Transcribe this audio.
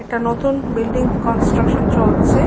একটা নতুন building construction চলছে ।